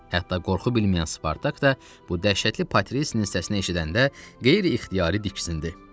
Hətta qorxu bilməyən Spartak da bu dəhşətli Patrisinin səsinə eşidəndə qeyri-ixtiyari diksindi.